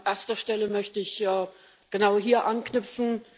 An erster Stelle möchte ich genau hier anknüpfen.